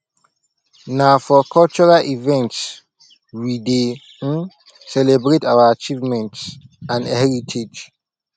na for cultural events we dey um celebrate our achievements and heritage